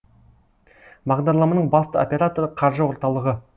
бағдарламаның басты операторы қаржы орталығы